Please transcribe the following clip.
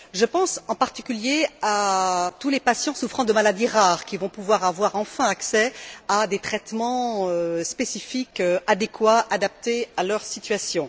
Je pense, en particulier, à tous les patients souffrant de maladies rares qui vont pouvoir avoir enfin accès à des traitements spécifiques adéquats adaptés à leur situation.